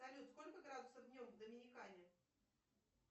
салют сколько градусов днем в доминикане